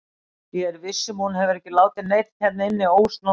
Ég er viss um að hún hefur ekki látið neinn hérna inni ósnortinn.